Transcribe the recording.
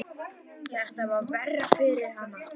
Þetta var verra fyrir hana.